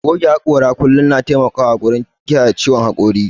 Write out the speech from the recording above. Goge haƙora a kullum na taimakawa wurin kiyaye ciwon haƙori.